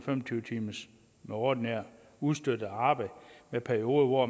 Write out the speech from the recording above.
tyve timers ordinært og ustøttet arbejde med perioder hvor